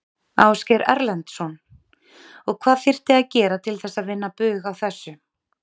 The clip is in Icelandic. Ásgeir Erlendsson: Og hvað þyrfti að gera til þess að vinna bug á þessu?